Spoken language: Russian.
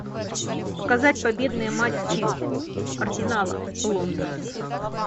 показать победные матчи арсенала лондон